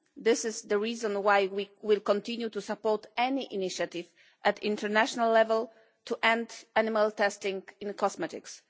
This is the reason why we will continue to support any initiative at international level to end animal testing in cosmetics.